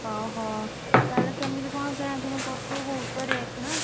ଓହୋ ତାହେଲେ କେମିତି କଣ କିଣାକିଣି କରୁଥିବୁ ବହୁତ ତ rate ନା?